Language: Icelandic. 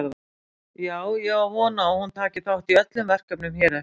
Já en ég á von á að hún taki þátt í öllum verkefnum hér eftir.